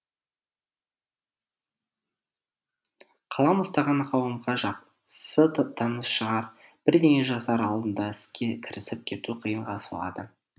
қалам ұстаған қауымға жақсы таныс шығар бірдеңе жазар алдында іске кірісіп кету қиынға соғады